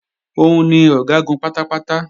Òun ni Ọ̀gágun pátápátá